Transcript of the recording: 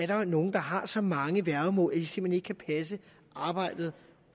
der er nogle der har så mange værgemål at de simpelt kan passe arbejdet